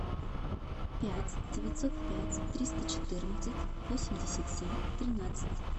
пять девятьсот пять триста четырнадцать восемьдесят семь тринадцать